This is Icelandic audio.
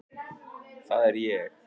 Það er ég.